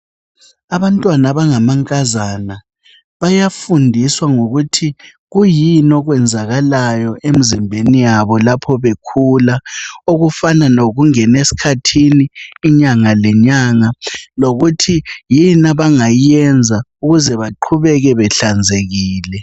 Abantwana abangamankazana bayafundiswa ngokuthi kuyini okwenzakalayo emzimbeni yabo lapho bekhula okufana lokungena esikhathini inyangalenyanga lokuthi yini abangayenza ukuze beqhubeke behlanzekile.